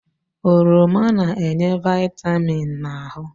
Oroma na-enye vịtamịn na ahụ.